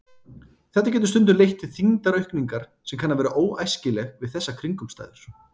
Þetta getur stundum leitt til þyngdaraukningar sem kann að vera óæskileg við þessar kringumstæður.